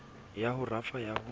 ya ho rafa ya ho